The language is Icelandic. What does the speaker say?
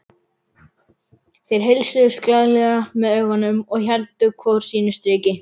Þeir heilsuðust glaðlega með augunum en héldu hvor sínu striki.